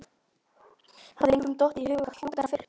Mesta lagi í fjarska uppi í ræðustól.